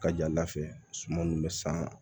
Ka jalafɛ suman nunnu bɛ san